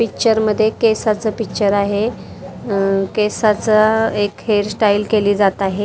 Picture मध्ये केसाच picture आहे उम्म् केसाच एक हेअरस्टाईल केली जात आहे.